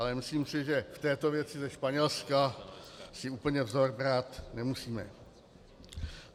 Ale myslím si, že v této věci ze Španělska si úplně vzor brát nemusíme.